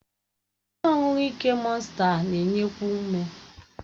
Ihe ọṅụṅụ ike mọnsta na-enyekwu ume.